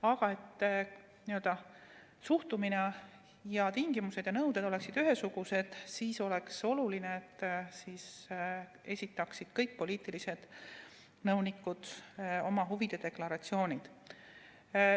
Aga et suhtumine, tingimused ja nõuded oleksid ühesugused, siis on oluline, et kõik poliitilised nõunikud esitaksid oma huvide deklaratsioonid.